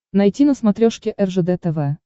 найти на смотрешке ржд тв